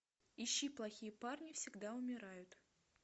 ищи плохие парни всегда умирают